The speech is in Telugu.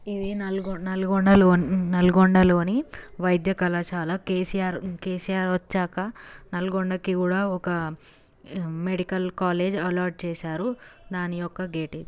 ఇది నల-నల్గొండలోని- నల్గొండ లోని వైద్య కళాశాల కె.సి.ఆర్ కె.సి.ఆర్ వచ్చాక నల్గొండ కి కూడా ఒక మెడికల్ కాలేజీ అల్లాట్ చేసారు దాని యొక్క గేట్ ఇది.